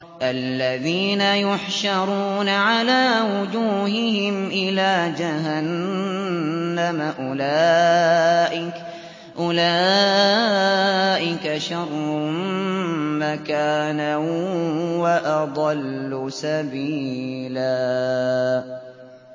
الَّذِينَ يُحْشَرُونَ عَلَىٰ وُجُوهِهِمْ إِلَىٰ جَهَنَّمَ أُولَٰئِكَ شَرٌّ مَّكَانًا وَأَضَلُّ سَبِيلًا